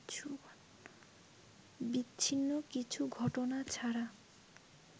বিচ্ছিন্ন কিছু ঘটনা ছাড়া